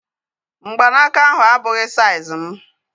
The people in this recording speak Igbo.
Mgbanaka ahu abụghị saiz mụ